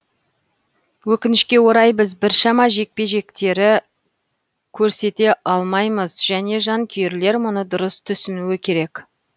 өкінішке орай біз біршама жекпе жектері көрсете алмаймыз және жанкүйерлер мұны дұрыс түсінуі керек